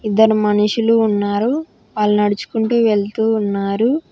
ఇద్దరు మనుషులు ఉన్నారు వాళ్ళు నడుచుకుంటూ వెళ్తూ ఉన్నారు.